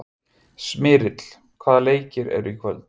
Smyrill, hvaða leikir eru í kvöld?